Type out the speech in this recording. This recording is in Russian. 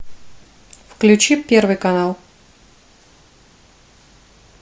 включи первый канал